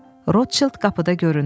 Rotşild qapıda göründü.